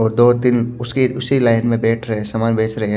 और दो तिन उसी उसी लाइन में बेठ रहे है सामान बेच रहे है।